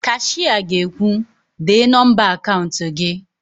Kashịa ga-ekwu, "dee nọmba akaụnt gị"!